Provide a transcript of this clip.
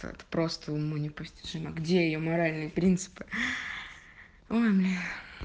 так просто уму непостижимо где её моральные принципы ой блин